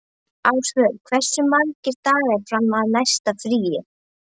Ásvör, hversu margir dagar fram að næsta fríi?